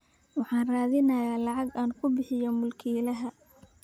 Waxaan raadinayaa lacag aan ku bixiyo mulkiilaha